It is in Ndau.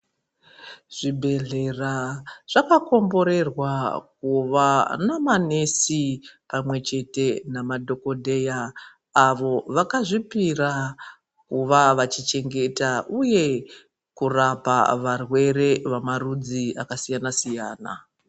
Zvibhedhlera zvakakomborerwa kuva namanesi pamwechete namadhokodheya, avo vakazvipira kuva vachichengeta uye kurapa varwere vamarudzi akasiyana-siyana.